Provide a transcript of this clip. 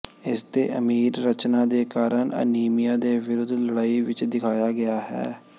ਇਸਦੇ ਅਮੀਰ ਰਚਨਾ ਦੇ ਕਾਰਨ ਅਨੀਮੀਆ ਦੇ ਵਿਰੁੱਧ ਲੜਾਈ ਵਿੱਚ ਦਿਖਾਇਆ ਗਿਆ ਹੈ